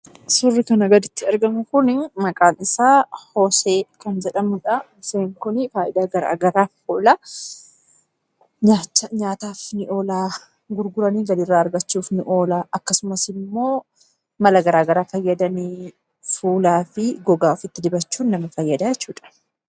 Suurri kanaa gaditti argamu kunii maqaan isaa moosee kan jedhamudha. Mooseen kun fayidaa garagaraaf oola. Nyaataaf ni oola, gurguranii galii irraa argachuuf ni oola. Akkasumasimmoo mala gara garaa fayyadamee fuulaafi gogaa ofiitti dibachuu nama fayyadaa jechuudha.